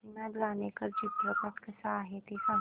काशीनाथ घाणेकर चित्रपट कसा आहे ते सांग